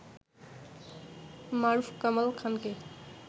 মারুফ কামাল খানকে